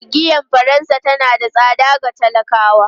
Giyar Faransa tana da tsada ga talakawa.